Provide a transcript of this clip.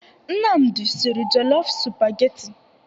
Nnamdi sịrị jelofụ sụpagheti.